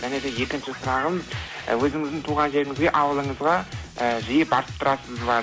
және де екінші сұрағым ы өзіңіздің туған жеріңізге ауылыңызға ііі жиі барып тұрасыз ба